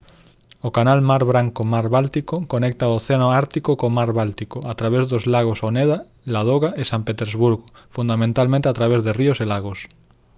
o canal mar branco-mar báltico conecta o océano ártico co mar báltico a través dos lagos oneda ladoga e san petersburgo fundamentalmente a través de río e lagos